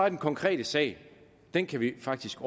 af den konkrete sag den kan vi faktisk